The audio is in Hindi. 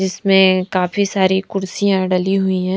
जिसमें काफी सारी कुर्सिया डली हुई हैं।